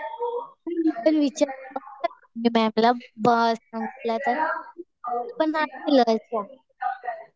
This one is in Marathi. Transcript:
मी विचारून बघते मॅडमला